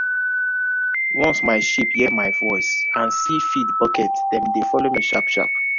once my sheep hear my voice and see feed bucket dem dey follow me sharp sharp.